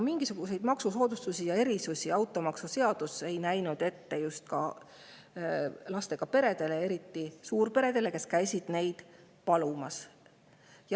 Mingisuguseid maksusoodustusi ja erisusi ei nähtud automaksu puhul ette ka lastega peredele ja eriti suurperedele, kes käisid neid palumas.